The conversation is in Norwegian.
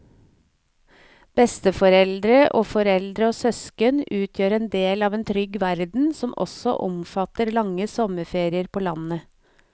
Besteforeldre og foreldre og søsken utgjør en del av en trygg verden som også omfatter lange sommerferier på landet.